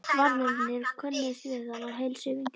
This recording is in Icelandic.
Varðmennirnir könnuðust við hann og heilsuðu vingjarnlega.